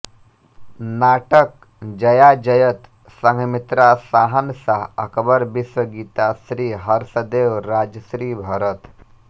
नाटक जयाजयत संघमित्रा शाहनशाह अकबर विश्वगीता श्री हर्षदेव राजर्षि भरत